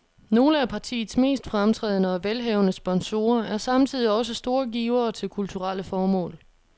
Nogle af partiets mest fremtrædende og velhavende sponsorer er samtidig også store givere til kulturelle formål.